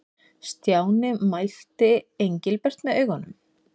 Stjáni mældi Engilbert með augunum.